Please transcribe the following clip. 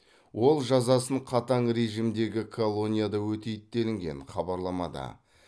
ол жазасын қатаң режимдегі колонияда өтейді делінген хабарламада